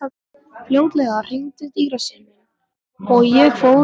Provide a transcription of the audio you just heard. Fljótlega hringdi dyrasíminn og ég fór niður.